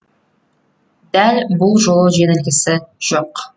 дәл бұл жолы жеңілгісі жоқ